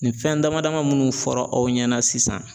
Nin fɛn dama dama munnu fɔra aw ɲɛna sisan